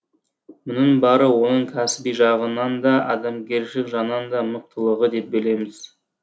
мұның бәрі оның кәсіби жағынан да адамгершілік жағынан да мықтылығы деп білеміз